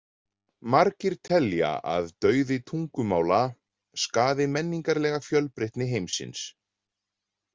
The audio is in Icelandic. Margir telja að dauði tungumála skaði menningarlega fjölbreytni heimsins.